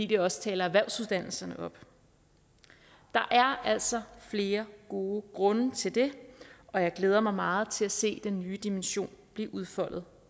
det også erhvervsuddannelserne op der er altså flere gode grunde til det og jeg glæder mig meget til at se den nye dimension blive udfoldet